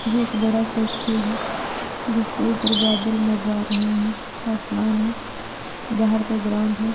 ये एक बड़ा सा स्कूल है जिसके ऊपर बादल मंडरा रहे हैं। आसमान है। बाहर का ग्राउंड है।